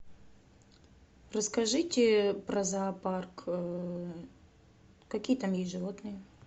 расскажите про зоопарк какие там есть животные